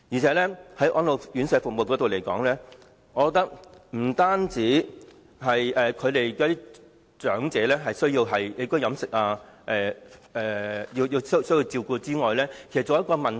此外，在安老院舍服務方面，我覺得除了長者的起居飲食需要得到照顧外，其實還需考慮一個問題。